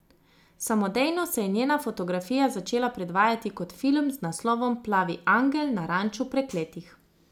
Samodejno se je njena fotografija začela predvajati kot film z naslovom Plavi angel na ranču prekletih.